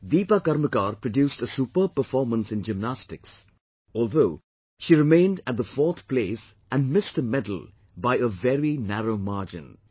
Dipa Karmakar produced a superb performance in Gymnastics, although she remained at the fourth place and missed a Bronze by a very narrow margin